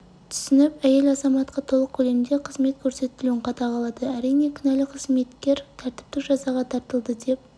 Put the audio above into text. түсініп әйел азаматқа толық көлемде қызмет көрсетілуін қадағалады әрине кінәлі қызметкер тәртіптік жазаға тартылды деп